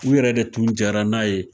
U yɛrɛ de tun jɛra n'a ye